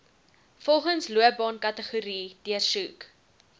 volgens loopbaankategorie deursoek